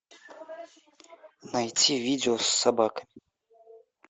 найти видео с собакой